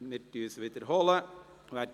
Wir wiederholen die Abstimmung.